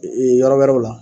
Ee yɔɔrɔ wɛrɛw la